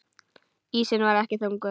Ísinn var ekki þykkur.